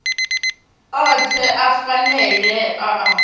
othe a phanele a a